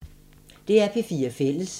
DR P4 Fælles